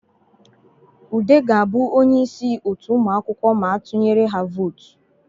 Ude ga-abụ onye isi otu ụmụakwụkwọ ma a tunyere ha votu